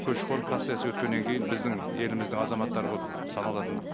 көші қон процесі өткеннен кейін біздің еліміздің азаматтары болып саналатын